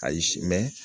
Ayi